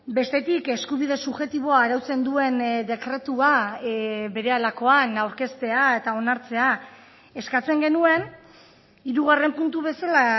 bestetik eskubide subjektiboa arautzen duen dekretua berehalakoan aurkeztea eta onartzea eskatzen genuen hirugarren puntu bezala